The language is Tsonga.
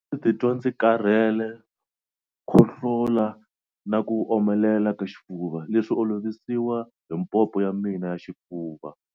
A ndzi titwa ndzi karhele, khohlola na ku omelela ka xifuva, leswi olovisiwa hi pompo ya mina ya xifuva.